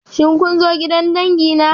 Shin kun zo gidan dangi na?